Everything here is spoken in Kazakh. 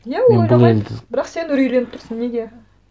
иә ол ойламайды бірақ сен үрейленіп тұрсың неге